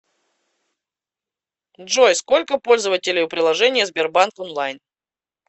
джой сколько пользователей у приложения сбербанк онлайн